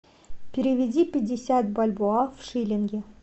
переведи пятьдесят бальбоа в шиллинги